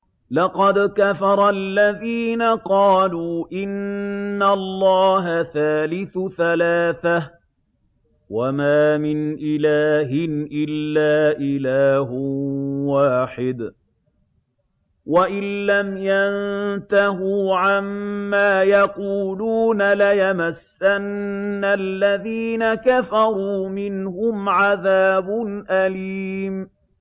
لَّقَدْ كَفَرَ الَّذِينَ قَالُوا إِنَّ اللَّهَ ثَالِثُ ثَلَاثَةٍ ۘ وَمَا مِنْ إِلَٰهٍ إِلَّا إِلَٰهٌ وَاحِدٌ ۚ وَإِن لَّمْ يَنتَهُوا عَمَّا يَقُولُونَ لَيَمَسَّنَّ الَّذِينَ كَفَرُوا مِنْهُمْ عَذَابٌ أَلِيمٌ